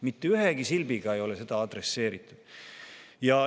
Mitte ühtegi silpi ei ole selle kohta.